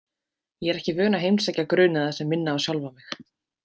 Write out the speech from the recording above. Ég er ekki vön að heimsækja grunaða sem minna á sjálfa mig.